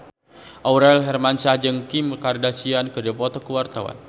Aurel Hermansyah jeung Kim Kardashian keur dipoto ku wartawan